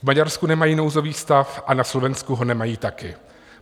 V Maďarsku nemají nouzový stav a na Slovensku ho nemají také.